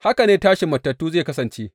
Haka ne tashin matattu zai kasance.